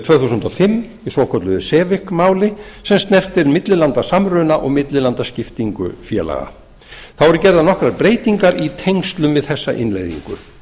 tvö þúsund og fimm í svokölluðu sevic máli sem snertir millilandasamruna og millilandaskiptingu félaga þá eru gerðar nokkrar breytingar í tengslum við þessa innleiðingu